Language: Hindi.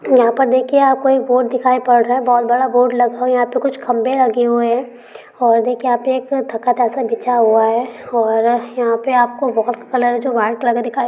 यहाँ पे देखिये आपको एक बोर्ड दिखाय पड़ रहा है बहुत बड़ा बोर्ड लगा है यहाँ पे कुछ खाब्भे लगे हुए है और देखिए यहाँ पर तखत सा बिछा हुआ है और यहाँ पे आपको बोहोत कलर जो वाइट कलर दिखाय --